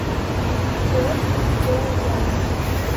форд боярд